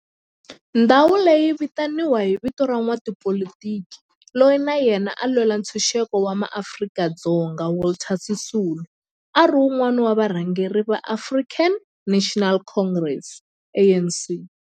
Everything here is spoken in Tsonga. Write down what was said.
Ndhawo leyi yi vitaniwa hi vito ra n'watipolitiki loyi na yena a lwela ntshuxeko wa maAfrika-Dzonga Walter Sisulu, a ri wun'wana wa varhangeri va African National Congress, ANC.